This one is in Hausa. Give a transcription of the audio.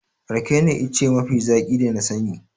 Rake ne ice mafi zaƙi da na sani.